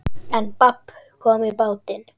En babb kom í bátinn.